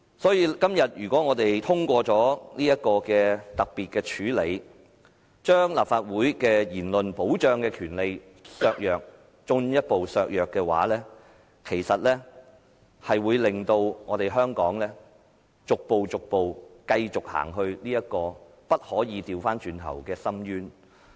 所以，今天如果我們通過這項特別處理的議案，把立法會言論受保障的權利進一步削弱的話，其實會令香港繼續逐步走至不能回頭的深淵。